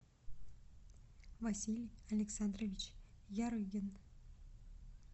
василий александрович ярыгин